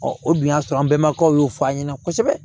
o dun y'a sɔrɔ an bɛnbakɛw y'o fɔ an ɲɛna kosɛbɛ